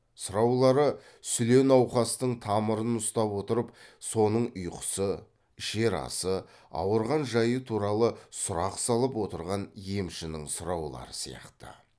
сұраулары сүле науқастың тамырын ұстап отырып соның ұйқысы ішер асы ауырған жайы туралы сұрақ салып отырған емшінің сұраулары сияқты